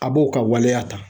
A b'o ka waleya ta